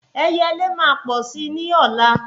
Ẹyẹlé máa pọ̀ si ni ọ̀la